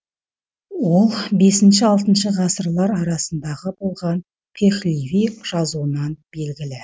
ол бесінші алтыншы ғасырлар арасындағы болған пехлеви жазуынан белгілі